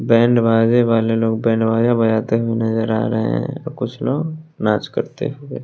band बाजे वाले लोग बैंड बाजा बजाते हुए नजर आ रहे है कुछ लोग नाच करते हुए--